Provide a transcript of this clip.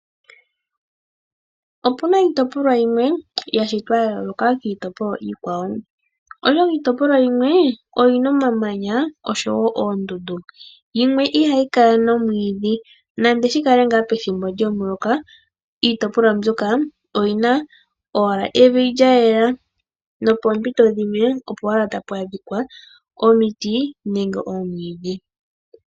Opuna iitopolwa yimwe ya shitwa ya yooloka kiitopolwa iikwawo. Oshoka iitopolwa yimwe oyina omamanya oshowo oondundu. Yimwe ihayi kala nomwiidhi nande shikale nga pethimbo lyomuloka iitopolwa mbyoka oyi na wala evi lya yela. Nopoompito opo owala tapu adhika omiti nenge oomwiidhi.